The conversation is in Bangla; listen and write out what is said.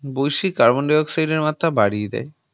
বৈশ্বিক Carbon Dioxide এর মাত্রা বাড়িয়ে দেয়